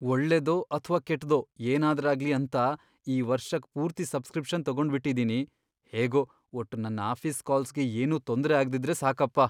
ಒಳ್ಳೇದೋ ಅಥ್ವಾ ಕೆಟ್ದೋ ಏನಾದ್ರಾಗ್ಲಿ ಅಂತ ಈ ವರ್ಷಕ್ ಪೂರ್ತಿ ಸಬ್ಸ್ಕ್ರಿಪ್ಷನ್ ತಗೊಂಡ್ಬಿಟಿದೀನಿ, ಹೇಗೋ ಒಟ್ಟು ನನ್ ಆಫೀಸ್ ಕಾಲ್ಸ್ಗೆ ಏನೂ ತೊಂದ್ರೆ ಆಗ್ದಿದ್ರೆ ಸಾಕಪ್ಪ.